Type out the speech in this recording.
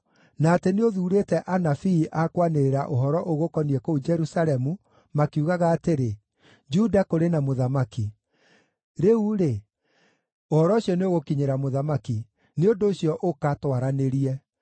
na atĩ nĩ ũthuurĩte anabii a kwanĩrĩra ũhoro ũgũkoniĩ kũu Jerusalemu makiugaga atĩrĩ, ‘Juda kũrĩ na mũthamaki!’ Rĩu-rĩ, ũhoro ũcio nĩũgũkinyĩra mũthamaki; nĩ ũndũ ũcio ũka, twaranĩrie.”